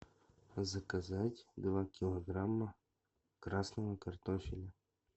заказать два килограмма красного картофеля